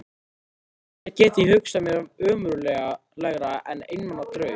Og ekkert get ég hugsað mér ömurlegra en einmana draug.